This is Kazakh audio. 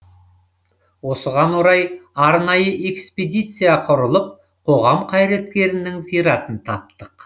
осыған орай арнайы экспедиция құрылып қоғам қайраткерінің зиратын таптық